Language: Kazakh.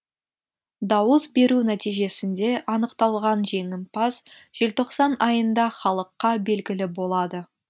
дауыс беру нәтижесінде анықталған жеңімпаз желтоқсан айында халыққа белгілі болады